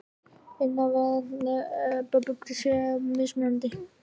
Innifalið í þeirri hugsjón er að fólk sé mismunandi.